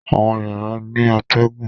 Àwọn yàrá ní atégùn.